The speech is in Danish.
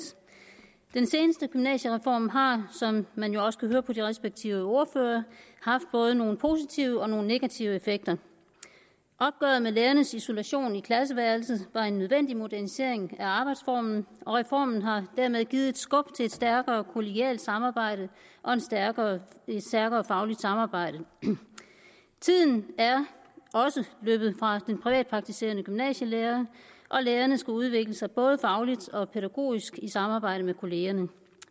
den seneste gymnasiereform har som man jo også kan høre på de respektive ordførere haft både nogle positive og nogle negative effekter opgøret med lærernes isolation i klasseværelset var en nødvendig modernisering af arbejdsformen og reformen har dermed givet et skub til et stærkere kollegialt samarbejde og et stærkere stærkere fagligt samarbejde tiden er også løbet fra den privatpraktiserende gymnasielærer og lærerne skal udvikle sig både fagligt og pædagogisk i samarbejde med kollegaerne